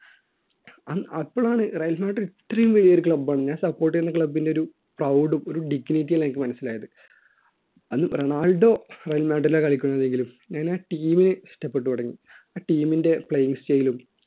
അന്ന് അപ്പളാന്ന് Real Madrid ഇത്രയും വലിയ ഒരു club ആണെന്ന് ഞാൻ support ചെയ്യുന്ന club ൻറെ ഒരു proud ഉം ഒരു dignity എല്ലാം എനിക്ക് മനസ്സിലായത് അന്ന് റൊണാൾഡോ റയൽ മാഡ്രിലാ കളിക്കുന്നത് എങ്കിലും ഞാനാ team നെ ഇഷ്ടപ്പെട്ടു തുടങ്ങി ആ team ൻറെ play style ലും